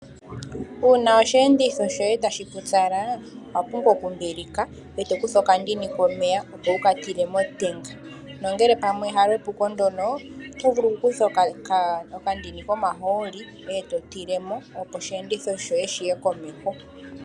Uuna osheenditho shoye ta shi pupyala, owa pumbwa oku mbilika, ee to kutha okandini komeya opo wu ka tile motenga. Nongele pamwe halyo epuko ndyono, oto vulu oku kutha okandini komahooli e to tilemo opo osheenditho shoye shi ye komeho.